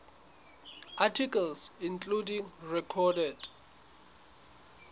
articles including recorded